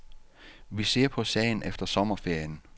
Vi ser på sagen efter sommerferien.